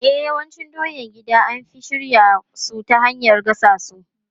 E, yawancin doyan gida an fi shirya su ta hanyar gasassu.